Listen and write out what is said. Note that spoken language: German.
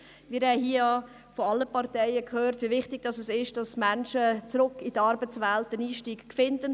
Wir haben von allen Parteien gehört, wie wichtig es ist, dass Menschen einen Einstieg zurück in die Arbeitswelt finden.